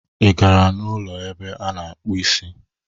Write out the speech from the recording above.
Ị gara n'ụlọ ebe a na-akpụ isi?